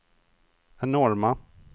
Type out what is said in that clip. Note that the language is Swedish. enorma